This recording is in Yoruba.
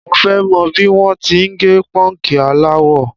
Mo fẹ́ mọ̀ bí wọ́n ti ń gẹ pọ́ǹkì aláwọ.